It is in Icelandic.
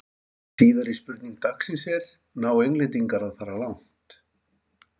Síðari spurning dagsins er: Ná Englendingar að fara langt?